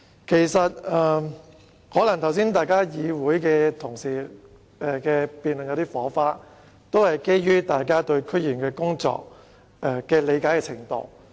剛才同事在辯論時可能有些火花，但相信是基於大家對區議員工作的理解程度不同。